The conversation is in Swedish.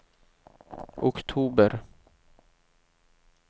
oktober